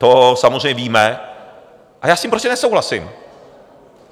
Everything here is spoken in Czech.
To samozřejmě víme a já s tím prostě nesouhlasím.